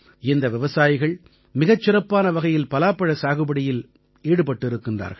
இந்த விவசாயிகள் மிகச் சிறப்பான வகையில் பலாப்பழ சாகுபடியில் ஈடுபட்டிருக்கிறார்கள்